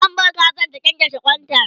zan bar Kazan ta kyankyashe kwanta